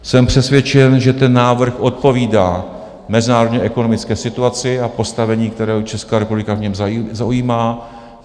Jsem přesvědčen, že ten návrh odpovídá mezinárodní ekonomické situaci a postavení, které Česká republika v něm zaujímá.